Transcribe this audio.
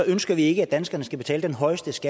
ønsker vi ikke at danskerne skal betale den højest